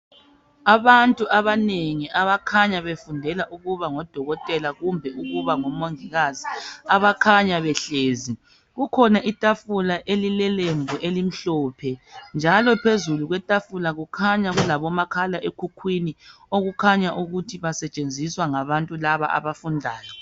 Abantu abanengi abakhanya befundela ukubangodokotela kumbe ukuba ngomongikazi abakhanya behlezi. Kukhona itafula elilelembu elimhlophe njalo phezulu kwetafula kukhanya kulabomakhala ekhukhwini okukhanya ukuthi basetshenziswa ngabantu laba abafundayo.